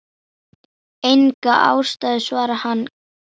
Hella getur átt við